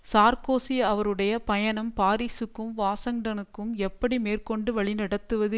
Sarkozy அவருடைய பயணம் பாரிஸுக்கும் வாஷங்டனுக்கும் எப்படி மேற்கொண்டு வழிநடத்துவது